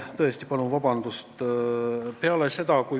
Tõesti palun vabandust!